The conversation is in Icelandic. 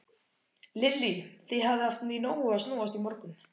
Lillý: Þið hafið haft í nógu að snúast í morgun?